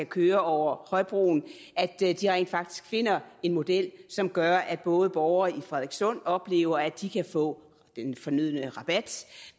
køre over højbroen rent faktisk finder en model som gør at både borgere i frederikssund oplever at de kan få den fornødne rabat